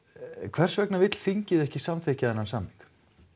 hversvegna vill þingið ekki samþykkja þennan samning